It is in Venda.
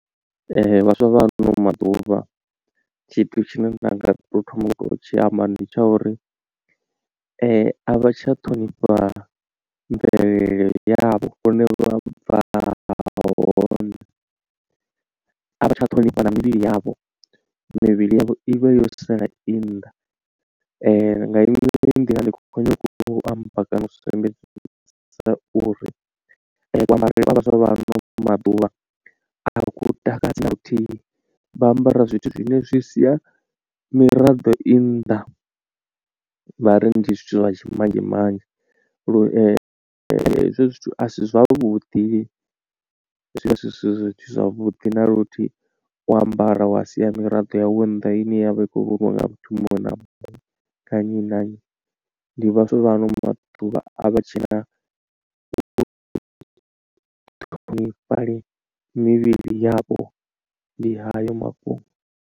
Vhaswa vha ano maḓuvha tshithu tshine nda nga to thoma u to thoma u tshi amba ndi tsha uri a vha tsha ṱhonifha mvelele yavho hune vha bva hone a vha tsha ṱhonifha na mivhili yavho, mivhili yavho i vha yo sala i nnḓa nga iṅwe nḓila ndi khou nyanga u amba kana u sumbedzisa uri kuambarele vha vhaswa vha ano maḓuvha a ku takadzi na luthihi vha ambara zwithu zwine zwi sia miraḓo i nnḓa. Vha ri ndi zwithu zwa tshimanzhemanzhe lu hezwo zwithu asi zwavhuḓi zwivha zwisi zwithu zwavhuḓi na luthihi u ambara wa sia miraḓo yau nnḓa ine yavha i kho vhoniwa nga muthu muṅwe na muṅwe nga nnyi na nnyi ndi vhaswa vha ano maḓuvha a vha tshena u ṱhonifha lini mivhili yavho ndi hayo mafhungo.